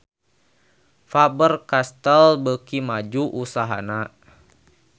Faber Castel beuki maju usahana